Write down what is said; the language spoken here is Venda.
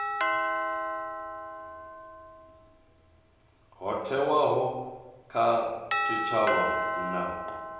ho thewaho kha tshitshavha na